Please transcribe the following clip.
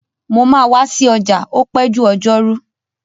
Mo máa wa si ọjà o pẹ́ jù ọjọ́rú